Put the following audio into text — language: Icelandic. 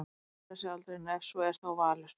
Aldrei að segja aldrei en ef svo er þá Valur.